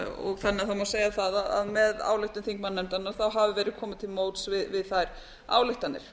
þannig að það má segja það að með ályktun þignmannanefndarinanr ahfiv búið komið til móts við þær ályktanir